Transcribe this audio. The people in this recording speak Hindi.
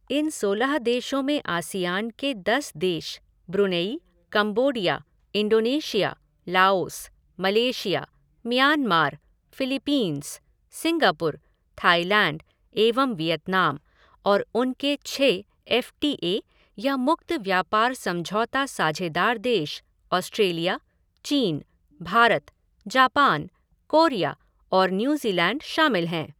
इन सोलह देशों में आसियान के दस देश Brunei, Cambodia, Indonesia, Laos, Malaysia, Myanmar, Philippines, Singapore, Thailand एवं वियतनाम और उनके छह एफ़ टी ए या मुक्त व्यापार समझौता साझेदार देश ऑस्ट्रेलिया, चीन, भारत, जापान, कोरिया और न्यूज़ीलैंड शामिल हैं।